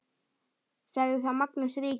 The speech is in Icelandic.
Sagði þá Magnús ríki